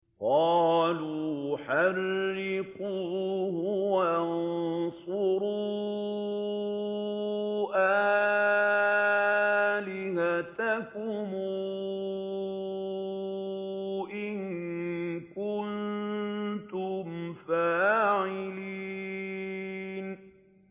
قَالُوا حَرِّقُوهُ وَانصُرُوا آلِهَتَكُمْ إِن كُنتُمْ فَاعِلِينَ